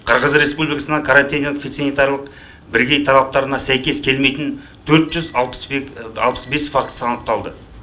қырғыз республикасынан карантиннен фитосанитарлық бірегей талаптарына сәйкес келмейтін төрт жүз алпыс бес фактісі анықталды